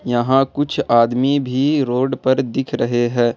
यहाँ कुछ आदमी भी रोड पर दिख रहे हैं।